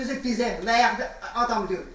Özü də bizə lağ adam deyil.